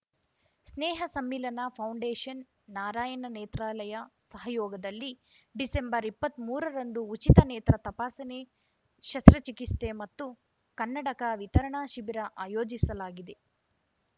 ಸ್ನೇಹ Sammilana foundation Narayana Nethralaya ಸಹಯೋಗದಲ್ಲಿ ಡಿಸೆಂಬರ್ಇಪ್ಪತ್ಮೂರರಂದು ಉಚಿತ ನೇತ್ರ ತಪಾಸಣೆ ಶಸ್ತ್ರಚಿಕಿಸ್ತೆ ಮತ್ತು ಕನ್ನಡಕ ವಿತರಣಾ ಶಿಬಿರ ಆಯೋಜಿಸಲಾಗಿದೆ